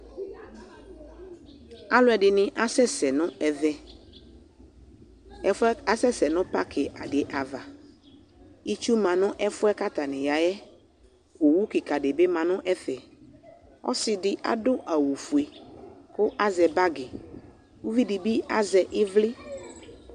Alʋɛdɩnɩ asɛsɛ nʋ ɛvɛ Ɛfʋ yɛ asɛsɛ nʋ pakɩ kɩka dɩ ava Itsu ma nʋ ɛfʋ yɛ kʋ atanɩ ya yɛ Owu kɩka dɩ bɩ ma nʋ ɛfɛ Ɔsɩ dɩ adʋ awʋfue kʋ azɛ bagɩ Uvi dɩ bɩ azɛ ɩvlɩ